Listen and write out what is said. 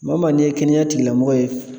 Maa o maa n'i ye kɛnɛya tigilamɔgɔ ye